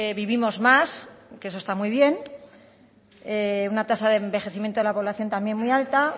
vivimos más que eso está muy bien una tasa de envejecimiento de la población también muy alta